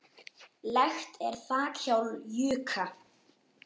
Lekt er þak hjá Jukka.